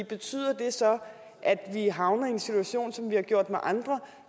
betyder det så at vi havner i en situation som vi har gjort med andre